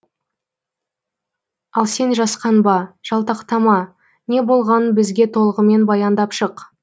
ал сен жасқанба жалтақтама не болғанын бізге толығымен баяндап шық